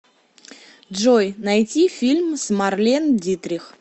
джой найти фильм с марлен дитрих